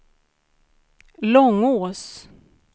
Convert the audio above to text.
Långås